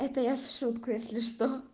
это я в шутку если что